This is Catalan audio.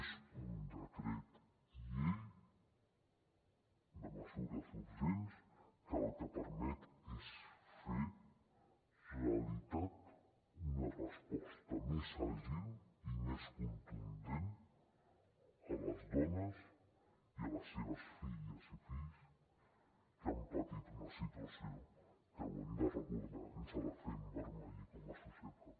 és un decret llei de mesures urgents que el que permet és fer realitat una resposta més àgil i més contundent a les dones i a les seves filles i fills que han patit una situació que ho hem de recordar ens ha de fer envermellir com a societat